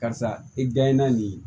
Karisa i dayɛlɛ na nin ye